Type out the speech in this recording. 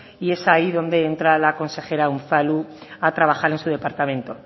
y es ahí donde entra la consejera unzalu a trabajar en su departamento